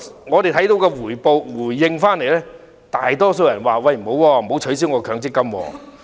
我們從回應所見，大多數人均表示不要取消其強積金。